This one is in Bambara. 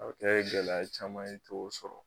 A bɛ kɛ gɛlɛya caman ye i t'o sɔrɔ.